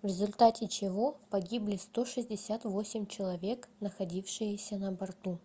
в результате чего погибли 168 человек находившиеся на борту